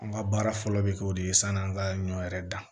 An ka baara fɔlɔ bɛ kɛ o de ye san'an ka ɲɔ yɛrɛ dan